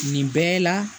Nin bɛɛ la